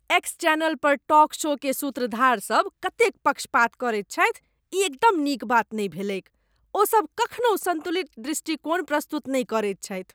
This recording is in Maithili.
एक्स चैनल पर टॉक शो केर सूत्रधार सब कतेक पक्षपात करैत छथि, ई एकदम नीक बात नहि भेलैक। ओसब कखनहु सन्तुलित दृष्टिकोण प्रस्तुत नहि करैत छथि।